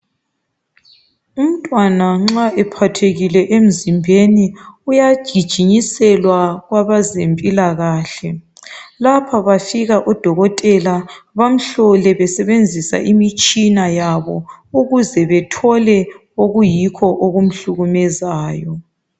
Umntwana nxa ephathekile emzimbeni uyagijinyiselwa kwabezempilakahle lapha bafika odokotela bamhlole besebenzisa imitshina yabo ukuze bethole okuyikho okumhlukumezayo.